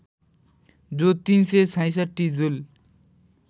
जो ३६६ जुल